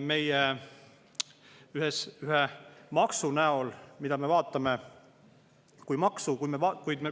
mitte ainult ühe maksuna, kui me vaatame seda kui vaid maksu.